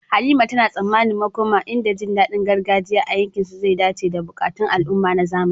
Halima tana tsammanin makoma inda jin daɗin gargajiya a yankinsu zai dace da buƙatun al'umma na zamani.